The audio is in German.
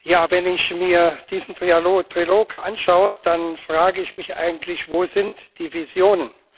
Ja, wenn ich mir diesen Trilog anschaue, dann frage ich mich eigentlich Wo sind die Visionen?